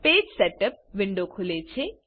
page setup window ખુલે છે